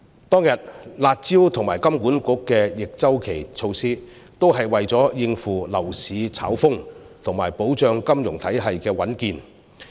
當天的"辣招"及金管局的逆周期措施，都是為了應付樓市炒風及保障金融體系的穩健。